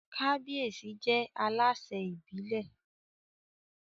Kábíyèsí jẹ́ alásẹ̀ ìbílẹ̀